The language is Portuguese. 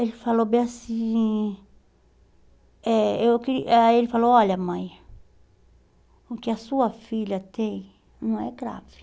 Ele falou bem assim, eh eu queri ãh ele falou, olha mãe, o que a sua filha tem não é grave.